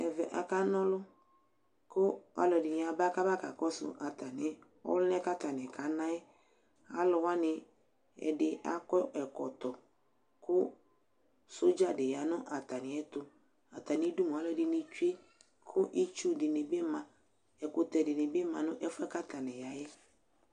Ɛvɛ akana ɔlʋ kʋ alʋɛdɩnɩ aba kʋ aba kakɔsʋ atamɩ ɔlʋna yɛ kʋ atanɩ akana yɛ Alʋ wanɩ ɛdɩ akɔ ɛkɔtɔ kʋ sodza dɩ ya nʋ atamɩɛtʋ Atamɩdu mʋa, alʋɛdɩnɩ tsue kʋ itsu dɩnɩ bɩ ma Ɛkʋtɛ dɩnɩ bɩ ma nʋ ɛfʋ yɛ kʋ atanɩ ya yɛ